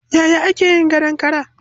Yaya ake yin gadon kara?